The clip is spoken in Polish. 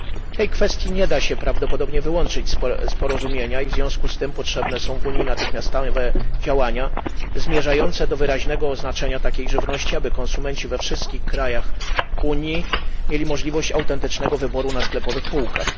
Tej kwestii nie da się prawdopodobnie wyłączyć z porozumienia i w związku z tym potrzebne są w Unii natychmiastowe działania zmierzające do wyraźnego oznaczenia takiej żywności, aby konsumenci we wszystkich krajach Unii mieli możliwość autentycznego wyboru na sklepowych półkach.